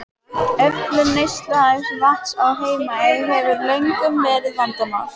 Öflun neysluhæfs vatns á Heimaey hefur löngum verið vandamál.